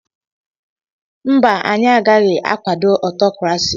Mba! Anyị agaghị akwado ọtọkrasị.